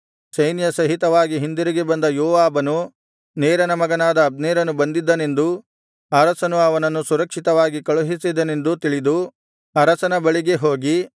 ಸೈನ್ಯಸಹಿತವಾಗಿ ಹಿಂದಿರುಗಿ ಬಂದ ಯೋವಾಬನು ನೇರನ ಮಗನಾದ ಅಬ್ನೇರನು ಬಂದಿದ್ದನೆಂದೂ ಅರಸನು ಅವನನ್ನು ಸುರಕ್ಷಿತವಾಗಿ ಕಳುಹಿಸಿದನೆಂದೂ ತಿಳಿದು ಅರಸನ ಬಳಿಗೆ ಹೋಗಿ